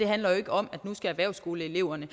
handler jo ikke om at erhvervsskoleeleverne